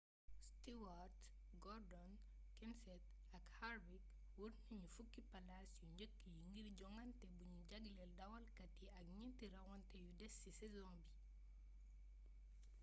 stewart gordon kenseth ak harvick wër nañu fukki palaas yu njëkk yi ngir jongante buñu jagleel dawalkat yi ak ñeenti rawante yu des ci saison bi